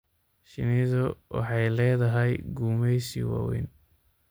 Shinnidu waxay leedahay gumeysi waaweyn.